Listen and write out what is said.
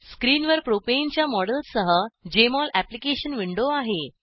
स्क्रिनवर प्रोपेनच्या मॉडेलसह Jmol application window आहे